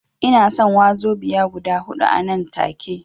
Ina son wazobiya guda huɗu anan take